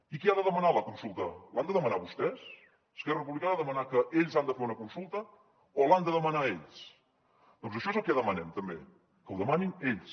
i qui ha de demanar la consulta l’han de demanar vostès esquerra republicana ha de demanar que ells han de fer una consulta o l’han de demanar ells doncs això és el que demanem també que ho demanin ells